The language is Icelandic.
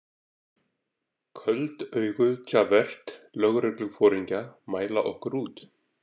Köld augu Javert lögregluforingja mæla okkur út.